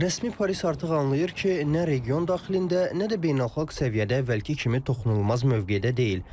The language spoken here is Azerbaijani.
Rəsmi Paris artıq anlayır ki, nə region daxilində, nə də beynəlxalq səviyyədə əvvəlki kimi toxunulmaz mövqedə deyil.